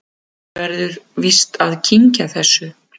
Maður verður víst að kyngja þessu